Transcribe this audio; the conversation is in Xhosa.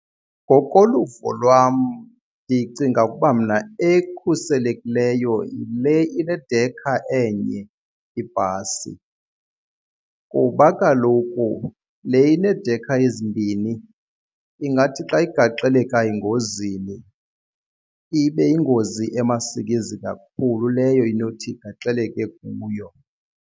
Ngokoluvo lwam ndicinga ukuba mna ekhuselekileyo yile inedekha enye ibhasi kuba kaloku le ineedekha ezimbini ingathi xa igaxeleka engozini ibe yingozi emasikizi kakhulu leyo inothi igaxeleke kuyo.